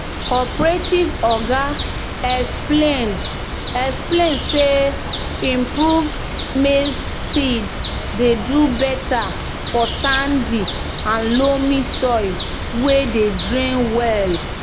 "cooperative oga explain explain say improved maize seed dey do better for sandy-loam soil wey dey drain well."